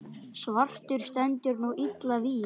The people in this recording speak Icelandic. svartur stendur nú illa vígi.